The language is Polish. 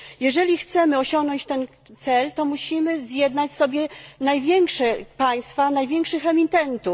Jeżeli chcemy osiągnąć ten cel, to musimy zjednać sobie największe państwa, największych emitentów.